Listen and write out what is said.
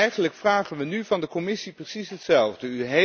Eigenlijk vragen wij nu van de Commissie precies hetzelfde.